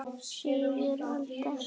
Slysið er aldrei langt undan.